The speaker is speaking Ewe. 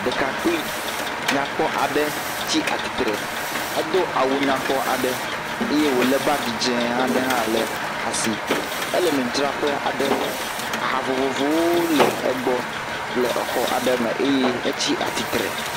Ɖekakpui nyakpɔ aɖe tsi atsitre. Edo awu nyakpɔ aɖe ye wole bagi dze aɖe hã le asi. Ele nudzraƒe aɖe. Aha vovovowo le egbɔ le exɔ aɖe me eye etsi atsitre.